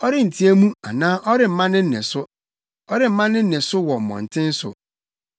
Ɔrenteɛ mu anaa ɔremma ne nne so. Ɔremma ne nne so wɔ mmɔnten so.